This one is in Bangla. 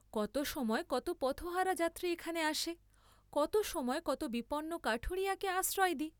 কত সময় কত পথহারা যাত্রী এখানে আসে, কত সময় কত বিপন্ন কাঠুরিয়াকে আশ্রয় দিই।